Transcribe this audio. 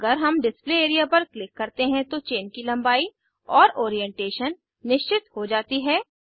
अगर हम display area पर क्लिक करते हैं तो चेन की लम्बाई और ओरीएन्टेशन निश्चित हो जाती है